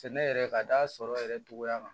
Sɛnɛ yɛrɛ ka d'a sɔrɔ yɛrɛ togoya kan